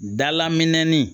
Dalaminɛnin